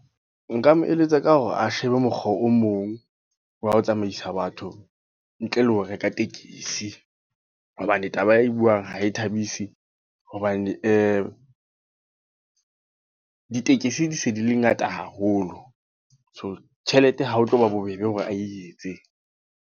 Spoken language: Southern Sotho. Nka mo eletsa ka hore a shebe mokgwa o mong, wa ho tsamaisa batho. Ntle le ho reka tekesi. Hobane taba e buang, ha e thabisi. Hobane ditekesi di se di le ngata haholo. So tjhelete ha ho tlo ba bobebe hore a e etse.